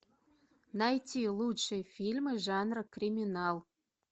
найти лучшие фильмы жанра криминал